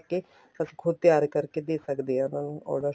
ਲੈਕੇ ਅਸੀਂ ਖੁੱਦ ਤਿਆਰ ਕਰਕੇ ਦੇ ਸਕਦੇ ਹਾਂ ਉਹਨਾ ਨੂੰ order